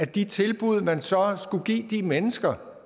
de tilbud man så skulle give de mennesker